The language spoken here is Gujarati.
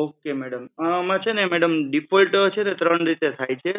ok madam આમાં છે ને madam default છે ને ત્રણ રીતે થાય છે